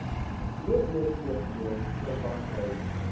obpv verband hou